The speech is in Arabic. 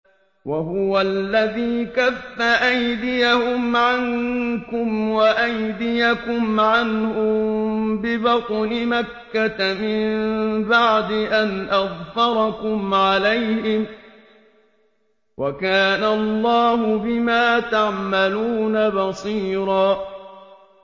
وَهُوَ الَّذِي كَفَّ أَيْدِيَهُمْ عَنكُمْ وَأَيْدِيَكُمْ عَنْهُم بِبَطْنِ مَكَّةَ مِن بَعْدِ أَنْ أَظْفَرَكُمْ عَلَيْهِمْ ۚ وَكَانَ اللَّهُ بِمَا تَعْمَلُونَ بَصِيرًا